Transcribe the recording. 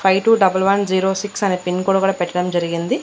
Five two double one zero six అని pin code పెట్టడం జరిగింది.